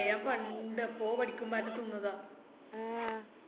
ഞാൻ പണ്ട് എപ്പോ പഠിക്കുമ്പാറ്റം തിന്നതാ